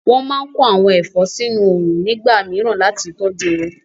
Wọ́n máa kó àwọn ẹ̀fọ́ sínu òrùn nígbà mìíràn láti tọjú wọn